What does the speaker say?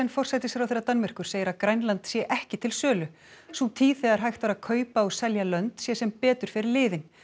forsætisráðherra Danmerkur segir að Grænland sé ekki til sölu sú tíð þegar hægt var að kaupa og selja lönd sé sem betur fer liðin